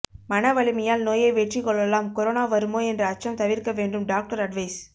மனவலிமையால் நோயை வெற்றி கொள்ளலாம் கொரோனா வருமோ என்ற அச்சம் தவிர்க்க வேண்டும் டாக்டர் அட்வைஸ்